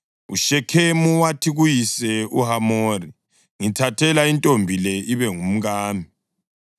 UShekhemu wathi kuyise uHamori, “Ngithathela intombi le ibe ngumkami.”